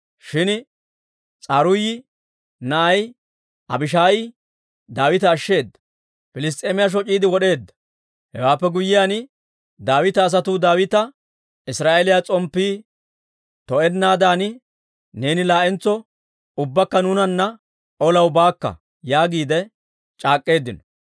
shin S'aruuyi na'ay Abishaayi Daawita ashsheeda; Piliss's'eemiyaa shoc'iide wod'eedda. Hewaappe guyyiyaan Daawita asatuu Daawita, «Israa'eeliyaa s'omppii to'ennaadan neeni laa'entso ubbakka nuunanna olaw baakka» yaagiide c'aak'k'eeddino.